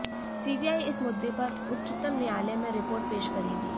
CBI इस मुद्दे पर उच्चतम न्यायालय में रिपोर्ट पेश करेगी